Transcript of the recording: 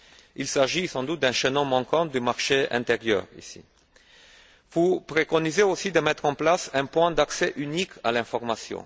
Il s'agit sans doute ici d'un chaînon manquant du marché intérieur. Vous préconisez aussi de mettre en place un point d'accès unique à l'information.